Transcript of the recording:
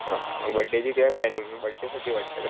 अ birthday ची काही planning birthday साठी वाटत